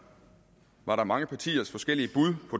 var der mange partiers forskellige bud